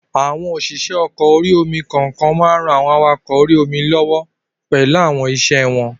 Àwọn òṣìṣẹ́ ọkọ̀ orí-omi kokan maa n ran àwọn awakọ̀ orí-omi lọ́wọ́ pẹ̀lú àwọn iṣẹ́ rẹ̀